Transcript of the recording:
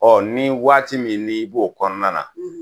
Ɔ ni waati min n'i b'o kɔnɔna na